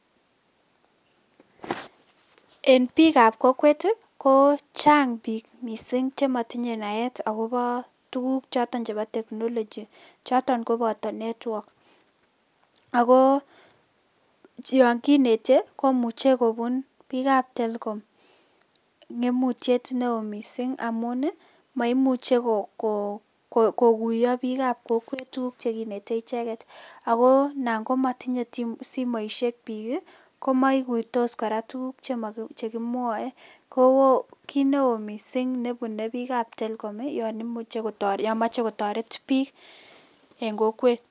En biikab kokwet ko chang biik mising chematinye naet akobo tuguk choto chebo technology choton koboto network ako yon kinetei komuche kobun biikab Telkom ngemutiet neo mising amun maimuchei kokuyo biikab kokwet tuguk che kinetei icheket ako tap matinyei simoishek biik komaikuitos kora tuguk chekimwoe ko kiit neo misiing nebunei biikab Telkom yon mochei kotoret biik eng kokwet.